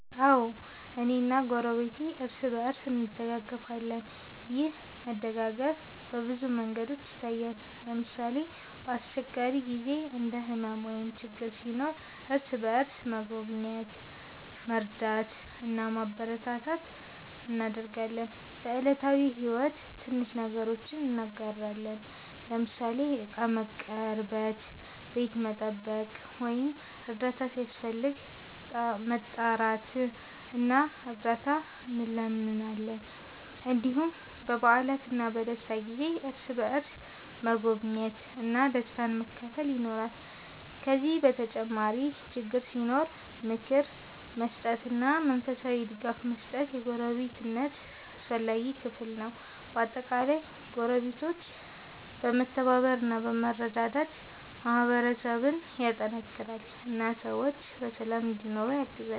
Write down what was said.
አዎ፣ እኔና ጎረቤቴ እርስ በእርስ እንደጋገፋለን። ይህ መደጋገፍ በብዙ መንገዶች ይታያል። ለምሳሌ፣ በአስቸጋሪ ጊዜ እንደ ሕመም ወይም ችግር ሲኖር እርስ በእርስ መጎብኘት፣ መርዳት እና ማበረታታት እናደርጋለን። በዕለታዊ ሕይወትም ትንሽ ነገሮችን እንጋራለን፤ ለምሳሌ ዕቃ መቀርበት፣ ቤት መጠበቅ ወይም እርዳታ ሲያስፈልግ መጣራት እና እርዳት እንለምናለን። እንዲሁም በበዓላትና በደስታ ጊዜ እርስ በእርስ መጎብኘት እና ደስታን መካፈል ይኖራል። ከዚህ በተጨማሪ ችግር ሲኖር ምክር መስጠትና መንፈሳዊ ድጋፍ መስጠት የጎረቤትነት አስፈላጊ ክፍል ነው። በአጠቃላይ ጎረቤቶች መተባበር እና መረዳዳት ማህበረሰብን ያጠናክራል እና ሰዎች በሰላም እንዲኖሩ ያግዛል።